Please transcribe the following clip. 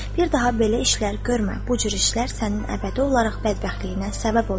Bir daha belə işlər görmə, bu cür işlər sənin əbədi olaraq bədbəxtliyinə səbəb olar.